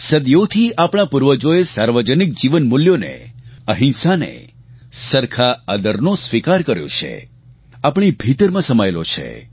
સદીઓથી આપણા પૂર્વજોએ સાર્વજનિક જીવન મૂલ્યોને અહિંસાને સરખા આદરને સ્વીકાર કર્યો છે આપણી ભીતરમાં સમાયેલો છે છે